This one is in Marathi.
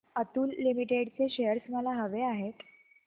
अतुल लिमिटेड चे शेअर्स मला हवे आहेत